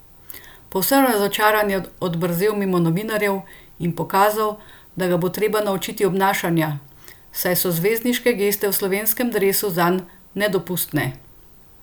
Povsem razočaran je odbrzel mimo novinarjev in pokazal, da ga bo treba naučiti obnašanja, saj so zvezdniške geste v slovenskem dresu zanj nedopustne!